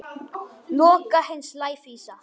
Loka hins lævísa.